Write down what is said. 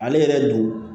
Ale yɛrɛ dun